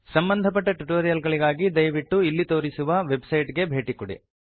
ಸಂಬಂಧಪಟ್ಟ ಟ್ಯುಟೋರಿಯಲ್ ಗಳಿಗಾಗಿ ದಯವಿಟ್ಟು ಇಲ್ಲಿ ತೋರಿಸಿರುವ ವೆಬ್ಸೈಟ್ ಗೆ ಭೇಟಿ ಕೊಡಿ